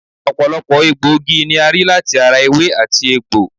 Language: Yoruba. Ọ̀pọ̀lọpọ̀ egbòogi ni a rí láti ara ewé àti egbò